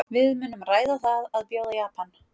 Við munum ræða það að bjóða Japan.